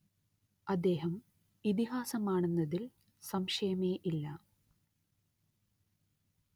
അദ്ദേഹം ഇതിഹാസമാണെന്നതിൽ സംശയമേയില്ല